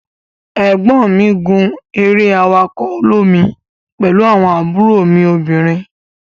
egbon mi gun ere awako olomi pelu awon mi obinrin.